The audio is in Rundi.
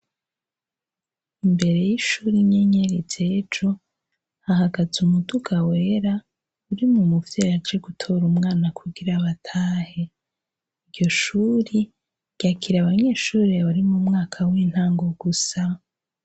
Imbere y'ishuri inyenyeri z'ejo hahagaze umuduga wera urimwo umuvyeyi aje gutora umwana kugira batahe, iryo shuri ryakira abanyeshuri bari mu mwaka w'intango gusa.